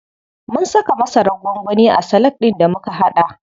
Mun saka masarar gwangwani a salak ɗin da muka haɗa.